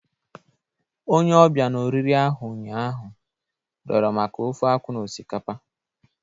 Onye ọbịa na oriri ahụ ụnyaahụ, rịọrọ maka ofe-akwu na osikapa.